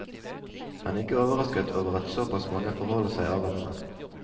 Han er ikke overrasket over at såpass mange forholder seg avventende.